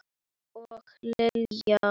Og Lilja!